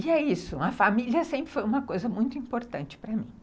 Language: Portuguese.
E é isso, a família sempre foi uma coisa muito importante para mim.